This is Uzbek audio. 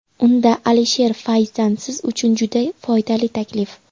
Unda Alisher Fayzdan siz uchun juda foydali taklif!.